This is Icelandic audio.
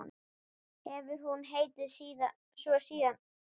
Hefur hún heitið svo síðan.